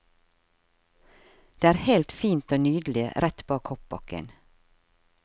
Det er helt fint og nydelig rett bak hoppbakken.